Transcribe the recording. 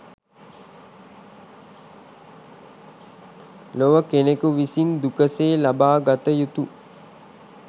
ලොව කෙනෙකු විසින් දුකසේ ලබා ගත යුතු